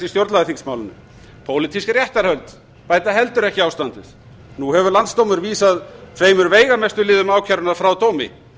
stjórnlagaþingsmálinu pólitísk réttarhöld bæta heldur ekki ástandið nú hefur landsdómur vísað tveimur veigamestu liðum ákærunnar frá dómi